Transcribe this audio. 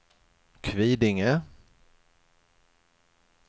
Kvidinge